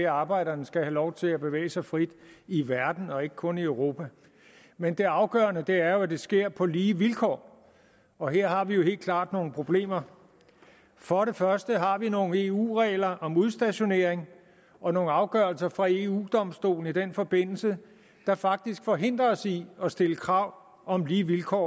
at arbejderne skal have lov til at bevæge sig frit i verden og ikke kun i europa men det afgørende er at det sker på lige vilkår og her har vi jo helt klart nogle problemer for det første har vi nogle eu regler om udstationering og nogle afgørelser fra eu domstolen i den forbindelse der faktisk forhindrer os i at stille krav om lige vilkår